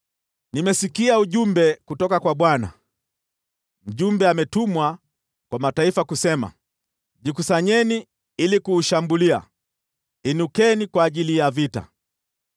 Nimesikia ujumbe kutoka kwa Bwana : Mjumbe alitumwa kwa mataifa kusema, “Jikusanyeni ili kuushambulia! Inukeni kwa ajili ya vita!”